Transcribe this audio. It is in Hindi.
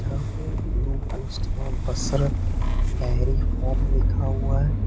यहां पे ब्ल्यू में बशरत डेयरी फॉर्म लिखा हुआ।